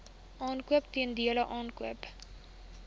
aankoop teelbulle aankoop